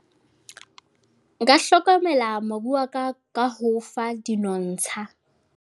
Nka nka hlokomela mobu wa ka, ka ho fa dinontsha.